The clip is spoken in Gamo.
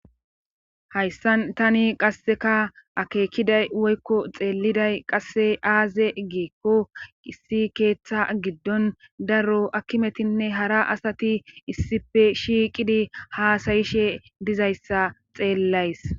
Hayssan tani qasseka akeekiday woykko xeelliday qasse aaze geekko issi keeththa giddon daro akkimetinne hara asati issife shiiqidi haasayishe dizayssa xeellays